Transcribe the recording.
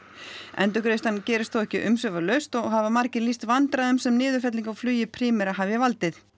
endurgreiðslan gerist þó ekki umsvifalaust og hafa margir lýst vandræðum sem niðurfelling á flugi Primera hafi valdið